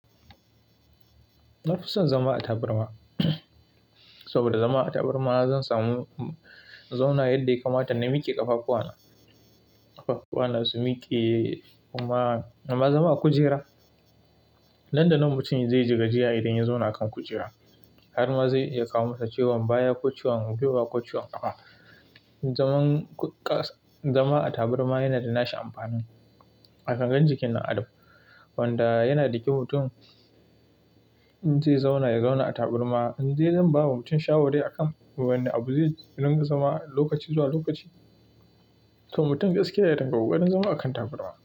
Na fi son zama a tabarma saboda zama a tabarma zan samu zauna yadda ya kamata na miƙe ƙafafuwa na, ƙafafuwa na su miƙe kuma, amma zama a kujera, nan da nan mutum zai ji gajiya idan ya zauna a kan kujera har ma zai iya kawo maka ciwon baya ko ciwon gwiwa, ko ciwon ƙafa. Zama a tabarma yana da nashi amfanin a gangan jikin dan adam wanda yana da kyau mutum in zai zauna ya zauna a tabarma. In dai zan ba wa mutum shawari akan wane abu zai dinga zama lokaci zuwa lokaci, to mutum gaskiya ya dinga ƙoƙarin zama a kan tabarma.